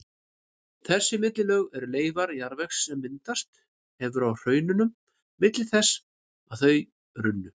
Þessi millilög eru leifar jarðvegs sem myndast hefur á hraununum milli þess að þau runnu.